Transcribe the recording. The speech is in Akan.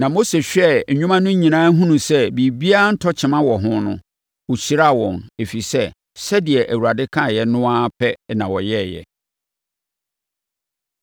Na Mose hwɛɛ nnwuma no nyinaa hunuu sɛ biribiara ntɔ kyema wɔ ho no, ɔhyiraa wɔn, ɛfiri sɛ, sɛdeɛ Awurade kaeɛ no ara pɛ na wɔyɛeɛ.